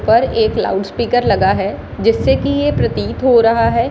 पर एक loud speaker लगा है जिससे कि ये प्रतीत हो रहा है --